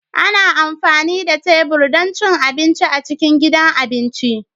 Ana amfani da tebur don cin abinci a cikin gidan abinci